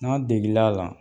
N'a' degil'a la